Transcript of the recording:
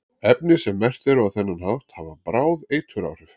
Efni sem merkt eru á þennan hátt hafa bráð eituráhrif.